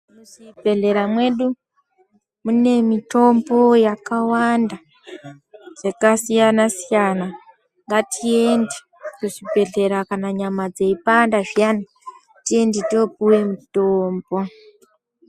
Muzvibhehlera mwedu mune mitombo yakawanda yakasiyana-siyana. Ngatiende kuzvibhedhlera kana nyama dzeipanda zviyani, tiende toopiwe mutombo.